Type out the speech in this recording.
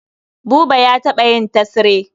Buba ya taɓa yin tesre.